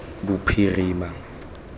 bophirima